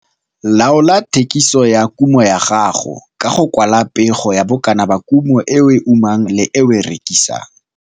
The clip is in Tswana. Laola thekiso ya kumo ya gago ka go kwala pego ya bokana ba kumo e o e umang le e o e rekisang.